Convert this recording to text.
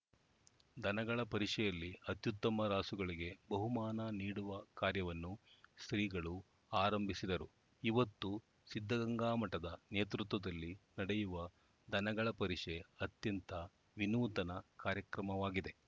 ದನಗಳ ಪರಿಷೆಯಲ್ಲಿ ಅತ್ಯುತ್ತಮ ರಾಸುಗಳಿಗೆ ಬಹುಮಾನ ನೀಡುವ ಕಾರ್ಯವನ್ನು ಶ್ರೀಗಳು ಆರಂಭಿಸಿದರು ಇವತ್ತು ಸಿದ್ಧಗಂಗಾ ಮಠದ ನೇತೃತ್ವದಲ್ಲಿ ನಡೆಯುವ ದನಗಳಪರಿಷೆ ಅತ್ಯಂತ ವಿನೂತನ ಕಾರ್ಯಕ್ರಮವಾಗಿದೆ